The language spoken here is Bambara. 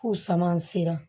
F'u sama sera